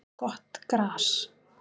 Gott gras